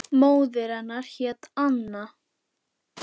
Móðir hennar hét Anna